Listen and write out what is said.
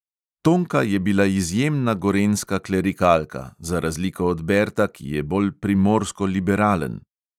Tonka je bila izjemna gorenjska klerikalka, za razliko od berta, ki je bolj primorsko liberalen.